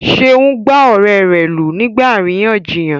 Seun gbá ọ̀rẹ́ rẹ̀ lù nígbà àríyànjiyàn.